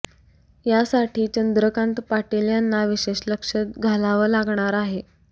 यासाठी चंद्रकांत पाटील यांना विशेष लक्ष घालावं लागणार आहे